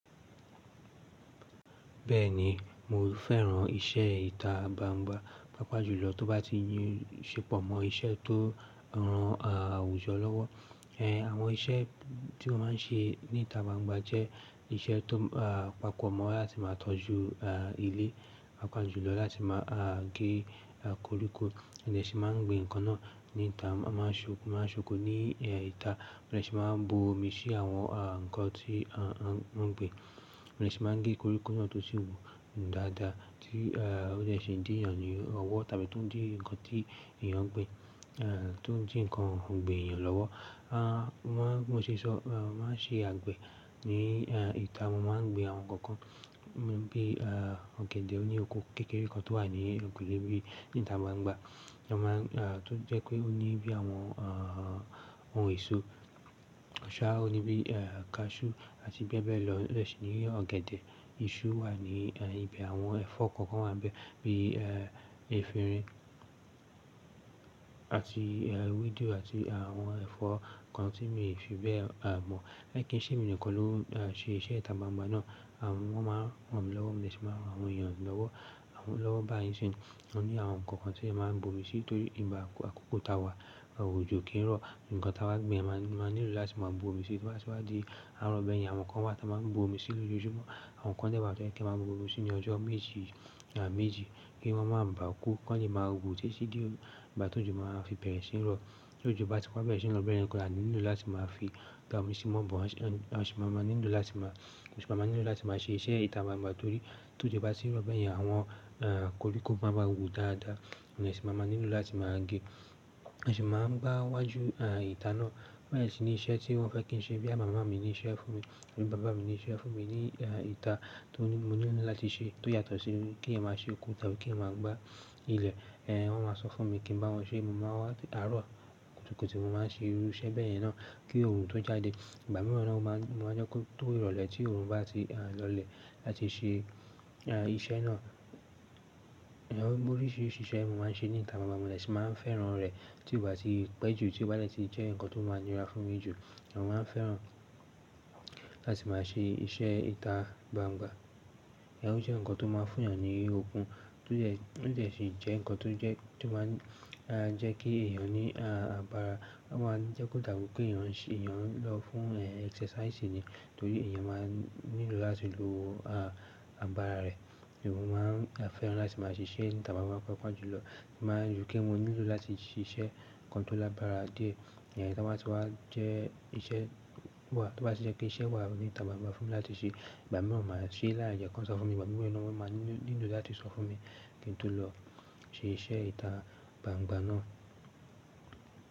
Bẹ́ẹ̀ni, mo fẹ́ràn iṣẹ́ ìta gbangba, pàápàá jùlọ tó bá ti yí ṣe pọ̀ mọ́ iṣẹ́ tó ran àwùjọ lọ́wọ́. Ẹ̀, àwọn iṣẹ́ tí mọ́ máa ń ṣe ní ìta gbangba jẹ́ iṣẹ́ tó, à, pápo mọ́ láti máa tọ́jú, à, ilé, pàápàá jùlọ láti máa, à, gé koríko, a de ṣi máa ń gbin ǹkan náà ní ìta, a máa ń ṣo máa ń ṣan okò ní, ẹ́, ìta, mo de ṣi máa wa bu omi sí àwọn, à, ǹkan tí, à, mọ́ gbin. Mo de máa ń gé koríko náà tó sì wù dáadáa tí, è, ó dè ṣe dí èèyàn ní ọwọ́ tàbí tó ń dí ǹkan tí èèyàn ń gbin, è, tó ń dí ǹkan ògbin èèyàn lọ́wọ́. Mo máa n, bi mo ṣe sọ, à, mo màá ṣe àgbẹ̀ ní, ẹ́, ìta. Mo máa ń gbin àwọn ǹkan kan bí, à, ọ̀gẹ̀dẹ̀, ó ní oko kékeré kan tó wà ní eyinkùle ibi ní ìta gba ń gba. A máa ń, tó jẹ́ pé ó ní bí àwọn, à, ohun èso. Ṣáá, ó ní bí, ẹ́, kaṣú àti bẹ́ẹ̀ bẹ́ẹ̀ lọ. O dẹ̀ ṣi ní ọ̀gẹ̀dẹ̀, iṣu wà ní, ẹ́, ibi àwọn ẹ̀fọ́ kookan wà n bẹ̀ bí, ẹ́, efinrin àti, ẹ́, ewédú àti àwọn ẹ̀fọ́ kan tí mi n fi bẹ́ẹ̀ mọ̀. Mi kín ṣé emi nìkan ló ń ṣe iṣẹ́ ìta gbangba náà. Àwọn eeyan máa ń ran mi lọ́wọ́, mo de ṣi máa ń ran àwọn èèyàn lọ́wọ́, awolọ́wọ́ bá yín nsin. Ọ́ ní àwọn ǹkan kan tí ẹmi máa ń bu omi sí torí igbà akọ́kọ́ tà wa, ojọ o kì n rọ. Ǹkan tà bá gbin, a máa nílo láti máa bu omi sí, to bá tì wá di àaroọ̀ bẹyẹn. Àwọn ǹkan wa tà máa ń bu omi sí lójoojúmọ́. Àwọn ǹkan dẹ̀ wá bẹ tó yẹ kí a máa bu omi sí ní ọjọ́ méjì, ọ̀sán méjì kí wọ́n máa bàá kú. Kan lè máa wù títí di ìgbà tí òjò máa fi bẹ̀rẹ̀ sí ní rọ̀. T'ójò bá ti wá bẹ̀rẹ̀ sí ní rọ̀, bẹ́yẹn ń ko là nílò láti máa fi dá omi sí mọ́ but. A ṣì máa máa nílò láti máa, a ṣì máa máa nílò láti máa ṣe iṣẹ́ ìta má má torí tó òjò bá tì ń rọ̀ bẹ́ẹ̀ yẹn, àwọn, koríko máa wàa wù dáadáa. Èyàn sì máa máa nílò láti máa gé. Ǹ sì máa ń gba wájú, ìta náà. Bẹ́ẹ̀ ṣì ni iṣẹ́ tí wọ́n fẹ́ kí ń ṣe bóyá màmá mi ní iṣẹ́ fún mi àbí bàbá mi ní iṣẹ́ fún mi ní, ìta tó ní mo nílò láti ṣe tó yàtọ̀ sí kí èèyàn máa ṣe oko tàbí kí èèyàn máa gbá ilẹ̀. Ẹ̀, wọ́n máa sọ fún mi kí n bá wọn ṣe, mo máa wá àárọ̀ kùtùkùtù mo máa ń ṣe irú iṣẹ́ bẹ́ẹ̀ yẹn náà kí òòrùn tó jáde. Ìgbà mìíràn náà mo máa ń jẹ́ kó tó ìrọ̀lẹ́ tí òòrùn bá ti lọlẹ̀ láti ṣe, à, iṣẹ́ náà. Gbogbo oríṣiríṣi iṣẹ́ mo máa ń ṣe ní ìta gbangba, màmá mi dẹ̀ ṣi máa ń fẹ́ràn rẹ̀ tí ó bá ti pẹ́ jù tí ó bá lè ti jẹ́ ǹkan tó máa ń ní ra fún mi jù. Ǹn máa ń fẹ́ràn láti máa ṣe iṣẹ́ ìta gbangba. Ǹjẹ́ ó jẹ́ ǹkan tó máa ń fún èèyàn ní okun, tó jẹ́, ó dẹ̀ ṣe jẹ́ ǹkan tó jẹ́, tó máa ń, jẹ́ kí èèyàn ní, à, àbàrá. Ó máa ń jẹ́ kó dàrú pé èèyàn ń ṣe, èèyàn ń lọ fún, ẹ́, exercise ni torí èèyàn máa ń nílò láti lo, àgbàrá rẹ̀. Èèyàn máa ń fẹ́ràn láti máa ṣe iṣẹ́ ní ìta gbangba papọ̀ jùlọ. Mọ máa ń rò pé mo nílò láti ṣe iṣẹ́ ǹkan tó l'àgbàrá díẹ̀, ẹ́, kí wọ́n sì wá jẹ́ iṣẹ́ wà, tó bá sì jẹ́ pé iṣẹ́ wà ní ìta gbangba fún mi láti ṣe, ìgbà mìíràn màá ṣe láì jẹ́ kí wọn sọ fún mi, ìgbà mìíràn ni wọ́n máa nílò láti sọ fún mi kí n tó lọ ṣe iṣẹ́ ìta gbangba náà.